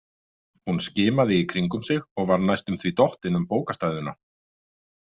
Hún skimaði í kringum sig og var næstum því dottin um bókastæðuna.